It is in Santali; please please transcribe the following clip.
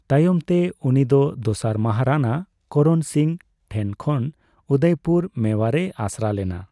ᱛᱟᱭᱚᱢ ᱛᱮ ᱩᱱᱤᱫᱚ ᱫᱚᱥᱟᱨ ᱢᱚᱦᱟᱨᱟᱱᱟ ᱠᱚᱨᱚᱱ ᱥᱤᱝ ᱴᱷᱮᱱᱠᱷᱚᱱ ᱩᱫᱚᱭᱯᱩᱨ ᱢᱮᱣᱟᱨᱮᱭ ᱟᱥᱨᱟᱭ ᱞᱮᱱᱟ ᱾